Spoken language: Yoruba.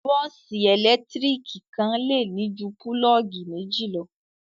Bọ́ọ́sì ẹ̀lẹ́tíríkì kan le ní ju pulọ́ọ́gì méjì lọ.